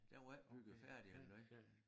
Den var ikke bygget færdig eller noget